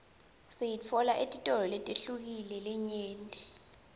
siyitfola etitolo letihlukile letinyenti